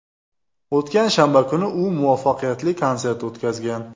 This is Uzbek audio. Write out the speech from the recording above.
O‘tgan shanba kuni u muvaffaqiyatli konsert o‘tkazgan.